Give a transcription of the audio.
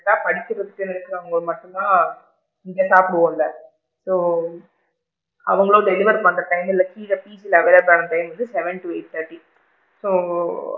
ஏன்னா படிச்சிட்டு இருக்கிறவுங்க மட்டும் தான் இங்க சாபிடுவோம்ல so அவுங்களும் deliver பண்ற time இல்ல கீழ available ஆகுற time வந்து seven to eight thirty so,